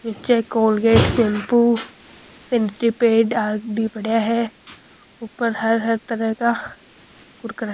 नीचे Colgate shampoo sanitary pad बे नीचे पेड भी पड़िया हैऊपर हर हर तरह का कुरकुरा --